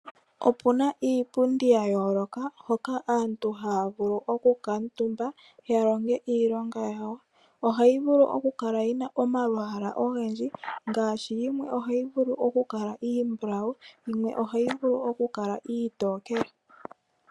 Opuna iipundi ya yooloka hoka aantu haya vulu okukuutumba ya longe iilonga yawo. Ohayi vulu okukala yina omalwaala ogendji. Ngaashi yimwe ohayi vulu okukala iimbulawu yo yimwe ohayi vulu okukala iitokele.